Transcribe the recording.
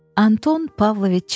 Anton Pavloviç Çexov.